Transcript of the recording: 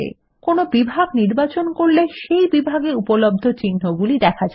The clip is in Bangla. কোনো বিভাগ নির্বাচন করলে সেই বিভাগে উপলব্ধ চিহ্নগুলি দেখা যায়